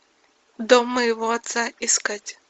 дом моего отца искать